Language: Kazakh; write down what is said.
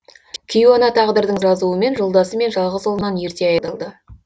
кейуана тағдырдың жазуымен жолдасы мен жалғыз ұлынан ерте айырылды